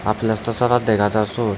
aa plastar sara dega jar siot.